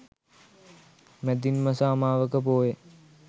මැදින් මස අමාවක පෝය